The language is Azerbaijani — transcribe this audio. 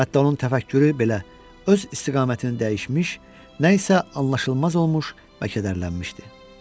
Hətta onun təfəkkürü belə öz istiqamətini dəyişmiş, nə isə anlaşılmaz olmuş və kədərlənmişdi.